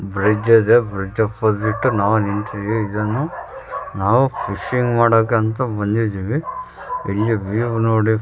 bridge ಅದ bridge opposite ನಾವು ನಿಂತಿದೀವಿ ಇದನ್ನು ನಾವು ಫಿಶಿಂಗ್ ಮಾಡೋಕಂತ ಬಂದಿದೀವಿ ಇದು ವಿವ್‌ ನೊಡಿ --